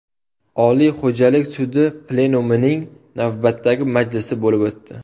Oliy xo‘jalik sudi plenumining navbatdagi majlisi bo‘lib o‘tdi.